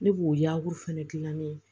Ne b'o yaala gilan ne ye